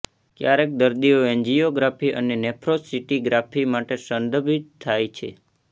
ક્યારેક દર્દીઓ એન્જીયોગ્રાફી અને નેફ્રોસસિંટિગ્રાફી માટે સંદર્ભિત થાય છે